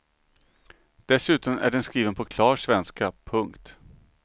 Dessutom är den skriven på klar svenska. punkt